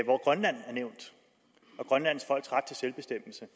at grønland og grønlands folks ret til selvbestemmelse